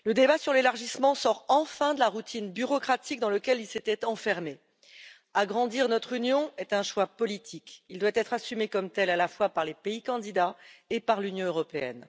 Madame la Présidente, il était temps le débat sur l'élargissement sort enfin de la routine bureaucratique dans laquelle il s'était enfermé. Agrandir notre Union est un choix politique. Il doit être assumé comme tel, à la fois par les pays candidats et par l'Union européenne.